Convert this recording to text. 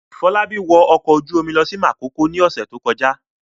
Fọlábí wọ ọkọ̀ ojú-omi lọ sí Makòko lọ́sẹ̀ tó kọjá?